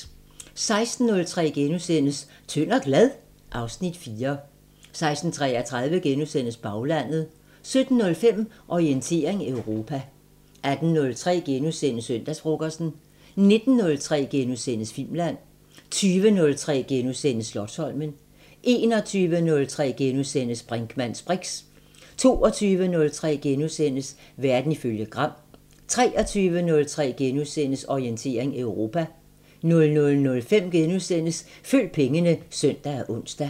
16:03: Tynd og glad? (Afs. 4)* 16:33: Baglandet * 17:05: Orientering Europa 18:03: Søndagsfrokosten * 19:03: Filmland * 20:03: Slotsholmen * 21:03: Brinkmanns briks * 22:03: Verden ifølge Gram * 23:03: Orientering Europa * 00:05: Følg pengene *(søn og ons)